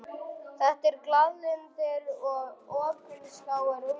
Þetta eru glaðlyndir og opinskáir unglingar.